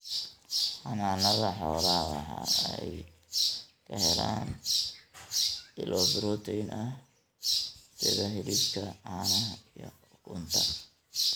Xanaanada xoolaha waxa ay ka helaan ilo borotiin ah sida hilibka, caanaha, iyo ukunta.